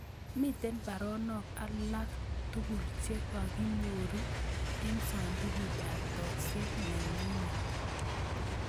Miten baronok alak tugul chegaginyoru en sandugut ab tokset nenyunet